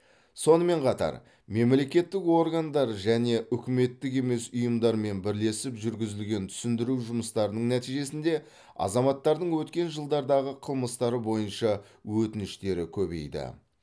сонымен қатар мемлекеттік органдар және үкіметтік емес ұйымдармен бірлесіп жүргізілген түсіндіру жұмыстарының нәтижесінде азаматтардың өткен жылдардағы қылмыстары бойынша өтініштері көбейді